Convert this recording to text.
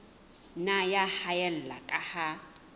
nna ya haella ka ha